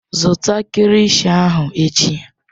Zụta kilishi ahụ echi!